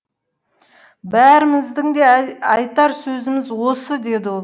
бәріміздің де айтар сөзіміз осы деді ол